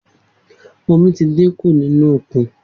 Omi ti dín kun nínú òkun